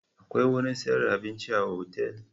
Akwai wurin sayar da abinci a otal?